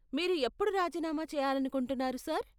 మీరు ఎప్పుడు రాజీనామా చేయాలనుకుంటున్నారు, సార్?